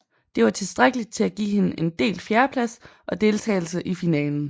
Det var tilstrækkeligt til at give hende en delt fjerdeplads og deltagelse i finalen